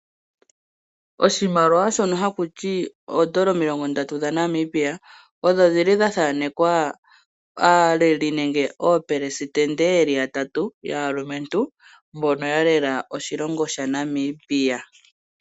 Oshimaliwa shono haku ti oodolla omilongo ndatu dhaNamibia odho dhi li dha thaanekwa aaleli nenge oopelesitende ye li yatatu yaalumentu mbono ya lela oshilongo shaNamibia.